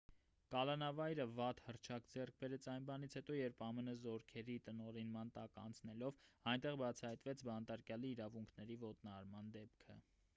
կալանավայրը վատ հռչակ ձեռք բերեց այն բանից հետո երբ ամն զորքերի տնօրինման տակ անցնելով այնտեղ բացահայտվեց բանտարկյալի իրավունքների ոտնահարման դեպքը